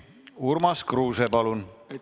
Urmas Kruuse, palun!